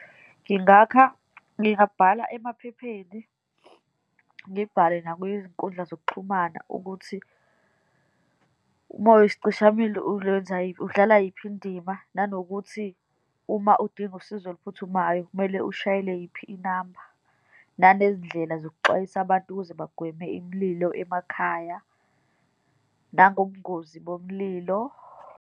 Ngingakha, ngingabhala emaphepheni, ngibhale nakwiy'nkundla zokuxhumana ukuthi uma uyisicishamlilo ulwenza udlala yiphi indima, nanokuthi uma udinga usizo oluphuthumayo, kumele ushayele yiphi inamba, nanezindlela zokuxwayisa abantu ukuze bagweme imililo emakhaya, nangobungozi bomlilo.